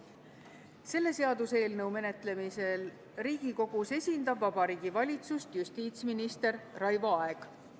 Selle seaduseelnõu menetlemisel Riigikogus esindab Vabariigi Valitsust justiitsminister Raivo Aeg.